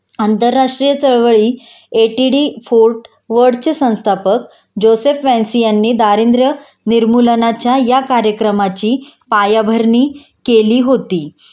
आतंरराष्ट्रीय चळवळी A T D Fourth World चे संस्थापक जोसेफ वांसि यांनी दारिद्र्य निर्मूलनाच्या या कार्यक्रमाची पायाभरणी केली होती